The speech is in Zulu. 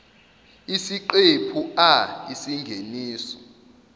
isiqephu a isingeniso